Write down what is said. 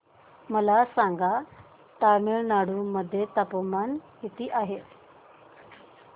मला सांगा तमिळनाडू मध्ये तापमान किती आहे